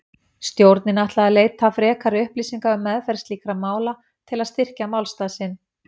Stjórnin ætlaði að leita frekari upplýsinga um meðferð slíkra mála til að styrkja málstað sinn.